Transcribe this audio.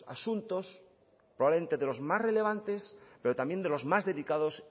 asuntos probablemente de los más relevantes pero también de los más delicados